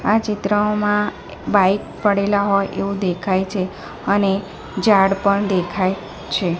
આ ચિત્રમાં બાઇક પડેલા હોય એવુ દેખાય છે અને ઝાડ પણ દેખાય છે.